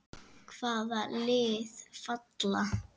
Hvaða lið falla?